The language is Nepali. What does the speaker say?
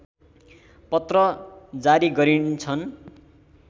पत्र जारी गरिन्छन्